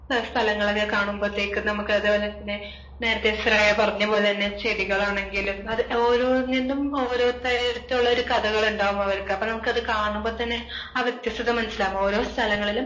പല സ്ഥലങ്ങൾ ഒക്കെ കാണുമ്പോഴത്തേക്ക് നമുക്ക് അത് പോലെ തന്നെ നേരത്തെ ശ്രേയ പറഞ്ഞ പോലെ തന്നെ ചെടികളാണെങ്കിലും അതൊക്കെ ഓരോന്നിന്നും ഓരോരുത്തരു അടുത്തുള്ള ഒരു കഥകളുണ്ടാകും അവർക്ക് അപ്പോ നമുക്കത് കാണുമ്പോ തന്നെ ആഹ് വ്യത്യസ്തത മനസ്സിലാകും. ഓരോ സ്ഥലങ്ങളിലും,